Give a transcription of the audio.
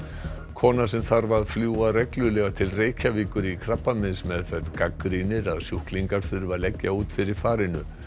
kona sem þarf að fljúga reglulega til Reykjavíkur í krabbameinsmeðferð gagnrýnir að sjúklingar þurfi að leggja út fyrir farinu